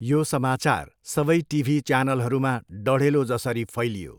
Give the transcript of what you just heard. यो समाचार सबै टिभी च्यानलहरूमा डढेलोजसरी फैलियो।